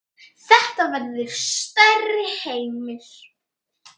Þetta verður stærri heimur.